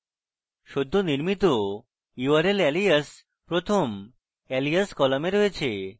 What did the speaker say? সদ্য নির্মিত url alias প্রথম alias column রয়েছে